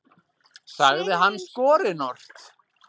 sagði hann skorinort.